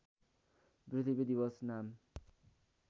पृथ्वी दिवस नाम